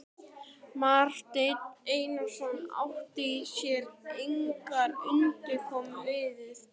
Marteinn Einarsson átti sér engrar undankomu auðið.